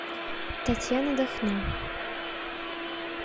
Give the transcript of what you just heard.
татьяна дахно